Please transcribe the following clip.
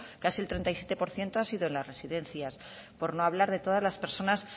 casi el treinta y siete por ciento ha sido en las residencias por no hablar de todas las personas